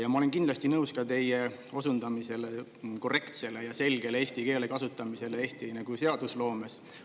Ja ma olen kindlasti nõus ka teie osundamisega korrektsele ja selgele eesti keele kasutamisele Eesti seadusloomes.